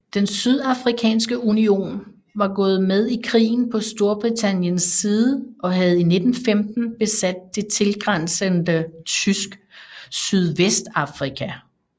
Den Sydafrikanske Union var gået med i krigen på Storbritanniens side og havde i 1915 besat det tilgrænsende Tysk Sydvestafrika